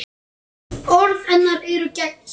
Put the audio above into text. Orð hennar eru gegnsæ.